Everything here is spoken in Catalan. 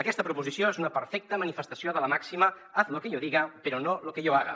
aquesta proposició és una perfecta manifestació de la màxima haz lo que yo diga pero no lo que yo haga